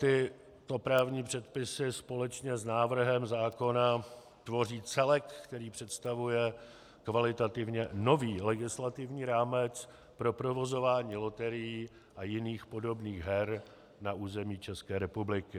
Tyto právní předpisy společně s návrhem zákona tvoří celek, který představuje kvalitativně nový legislativní rámec pro provozování loterií a jiných podobných her na území České republiky.